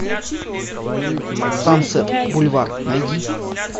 сансет бульвар найди